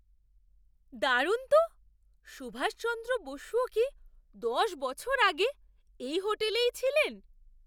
দারুণ তো! সুভাষচন্দ্র বসুও কি দশ বছর আগে এই হোটেলেই ছিলেন?